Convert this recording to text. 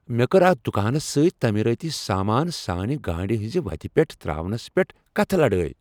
مےٚ کٔر اتھ دکانس سۭتۍ تٲمیرٲتی سامان سانہِ گاڑِ ہنزِ وتہِ پیٹھ ترٛاونس پیٹھ کتھٕہ لڑٲیۍ۔